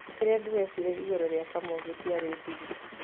Kĩrĩa ndĩreciria igũrũ rĩa Kamau gĩtiarĩ thiri.